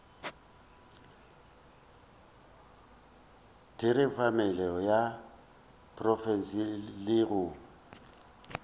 theramelao ya profense le go